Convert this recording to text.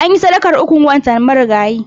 Anyi sadakar ukun wanta marigayi.